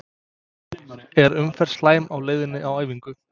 Er umferðin slæm á leiðinni á æfingu?